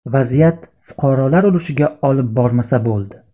Vaziyat fuqarolar urushiga olib bormasa bo‘ldi.